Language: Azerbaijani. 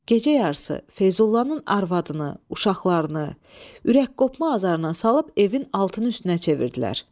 Gecə yarısı Feyzullanın arvadını, uşaqlarını ürək qopma azarına salıb evin altını üstünə çevirdilər.